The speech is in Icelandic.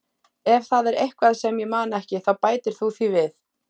Ef það er eitthvað sem ég man ekki þá bætir þú því við.